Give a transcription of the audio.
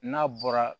N'a bɔra